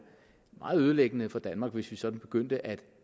meget ødelæggende for danmark hvis vi sådan begyndte at